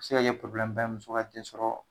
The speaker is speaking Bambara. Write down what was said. A bi se ka ye muso ka den sɔrɔ